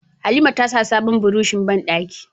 Halima tasa sabon burushin bandaki